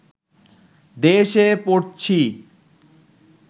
দেশ-এ পড়ছি